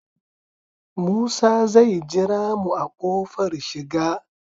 Musa zai jira mu a kofar shiga